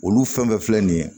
Olu fɛn fɛn filɛ nin ye